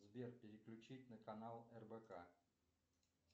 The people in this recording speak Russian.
сбер переключить на канал рбк